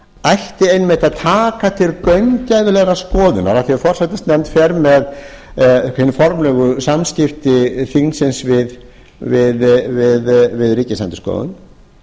ætti einmitt að taka til gaumgæfilegrar skoðunar af því að forsætisnefnd fer með hin formlegu samskipti þingsins við ríkisendurskoðun